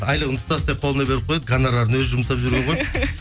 айлығын ұстаса қолына беріп қояды гонорарын өзі жұмсап жүрген